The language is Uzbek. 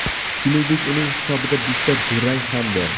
Shuningdek, uning hisobida bitta durang ham bor.